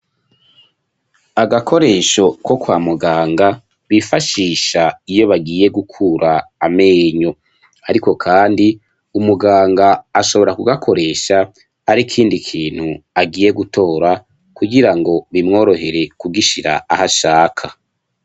Agakoresho ko kwa muganga bifashisha iyo bagiye gukura amenyo, ariko kandi umuganga ashobora kugakoresha ari ikindi kintu agiye gutora kugirango bimworohere kugishira aho ashaka.